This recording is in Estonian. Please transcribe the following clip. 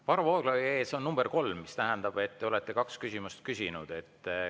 Varro Vooglaiu nime ees on nr 3, mis tähendab, et te olete 2 küsimust küsinud.